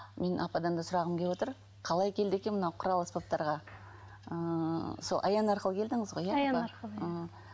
мен ападан да сұрағым келіп отыр қалай келді екен мына құрал аспаптарға ыыы сол аян арқылы келдіңіз ғой иә аян арқылы ы